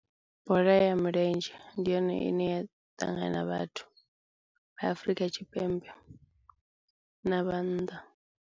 Bola ya milenzhe ndi yone ine ya ṱangana vhathu vha Afrika Tshipembe na vha nnḓa.